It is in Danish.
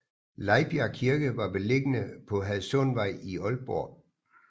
Lejbjerg Kirke var beliggende på Hadsundvej i Aalborg